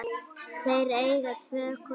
Þeir eiga tvo kosti.